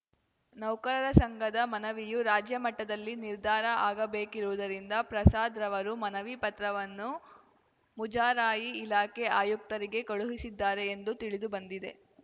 ನೌಕರರ ಸಂಘದ ಮನವಿಯು ರಾಜ್ಯ ಮಟ್ಟದಲ್ಲಿ ನಿರ್ಧಾರ ಆಗಬೇಕಿರುವುದರಿಂದ ಪ್ರಸಾದ್‌ ರವರು ಮನವಿ ಪತ್ರವನ್ನು ಮುಜರಾಯಿ ಇಲಾಖೆ ಆಯುಕ್ತರಿಗೆ ಕಳುಹಿಸಿದ್ದಾರೆ ಎಂದು ತಿಳಿದು ಬಂದಿದೆ